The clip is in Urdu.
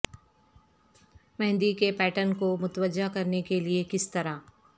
مہندی کے پیٹرن کو متوجہ کرنے کے لئے کس طرح